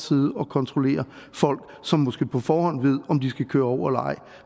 sidde og kontrollere folk som måske på forhånd ved om de skal køre over eller ej